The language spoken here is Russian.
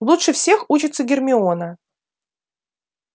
лучше всех учится гермиона